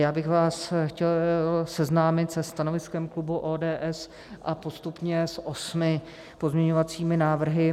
Já bych vás chtěl seznámit se stanoviskem klubu ODS a postupně s osmi pozměňovacími návrhy.